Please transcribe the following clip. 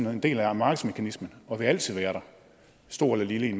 er en del af markedsmekanismen og vil altid være der stor eller lille